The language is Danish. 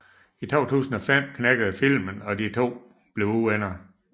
I 2005 knækkede filmen og de to blev uvenner